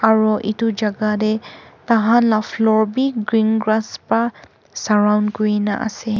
Aro etu jaga tey tahan la floor beh green grass bra surround kurena ase.